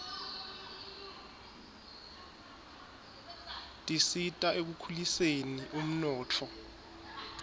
tisita ekukhuliseni umnotfo